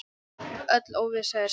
Öll óvissa er slæm.